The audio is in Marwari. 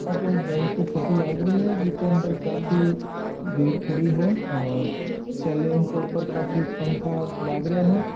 एक बेंक की फोटो लाग रही है जिन के अंदर काफी भीड़ लगी है और सीलिंग के ऊपर खाफी पंखा लागले है।